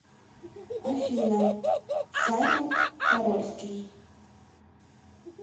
афина саймон хорольский